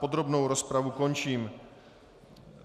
Podrobnou rozpravu končím.